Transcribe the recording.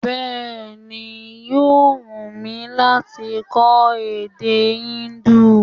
Bẹ́ẹ̀ni, yóò wù mí lát kọ́ èdè Indu